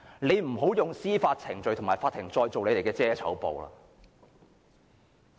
請不要再用司法程序和法庭作為你們的遮醜布。